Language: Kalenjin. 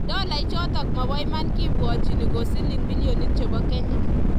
Dola ichotok maba iman ke bwotchin ko silling billionit chebo kenya